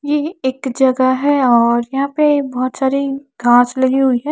ये एक जगह है और यहां पे बहुत सारी घास लगी हुई है।